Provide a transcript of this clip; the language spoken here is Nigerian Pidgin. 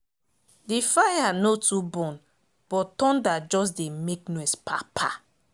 the fire no too burn but thunder just dey make noise pa pa